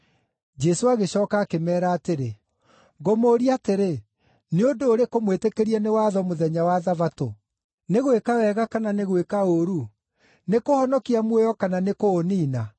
Jesũ agĩcooka akĩmeera atĩrĩ, “Ngũmũũria atĩrĩ, nĩ ũndũ ũrĩkũ mwĩtĩkĩrie nĩ watho mũthenya wa Thabatũ: nĩ gwĩka wega kana nĩ gwĩka ũũru, nĩ kũhonokia muoyo kana nĩ kũũniina?”